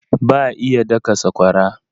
Ba iya daka sakwara.